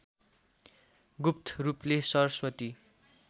गुप्त रूपले सरस्वती